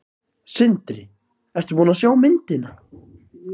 Sindri: Ertu búin að sjá myndina?